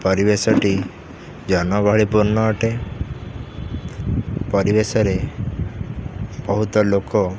ପରିବେଶ ଟି ଜନଗହଳିପୂର୍ଣ୍ଣ ଅଟେ ପରିବେଶରେ ବହୁତ ଲୋକ --